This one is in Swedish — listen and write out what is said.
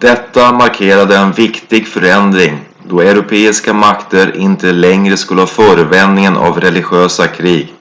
detta markerade en viktig förändring då europeiska makter inte längre skulle ha förevändningen av religiösa krig